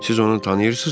Siz onu tanıyırsınızmı?